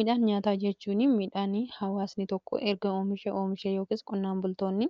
Midhaan nyaataa jechuun midhaanii hawaasnii tokko erga oomishee oomishee yookiis qonnaan bultoonni